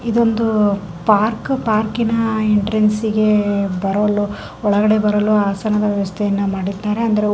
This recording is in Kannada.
ಇದೊಂದು ಪಾರ್ಕು ಪಾರ್ಕಿನ್ ಎಂಟ್ರೆನ್ಸಗೆ ಒಳಗಡೆ ಬರಲು ಹಾಸನದ ವ್ಯವಸ್ಥೆಯನ್ನು ಮಾಡಿದ್ದಾರೆ.